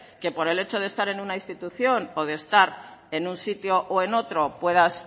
que por el hecho de estar en una institución o de estar en un sitio o en otro puedas